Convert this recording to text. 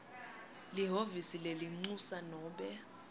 lihhovisi lelincusa nobe